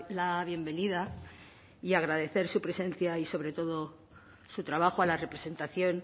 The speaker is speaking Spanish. la bienvenida y agradecer su presencia y sobre todo su trabajo a la representación